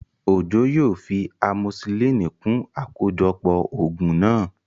Òjó yóò fi amosisilínì kún àkójọpọ̀ ògùn náà